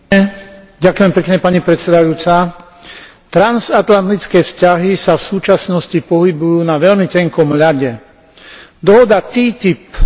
Transatlantické vzťahy sa v súčasnosti pohybujú na veľmi tenkom lade. Dohoda TTIP je jednou z našich najväčších medzinárodných výziev.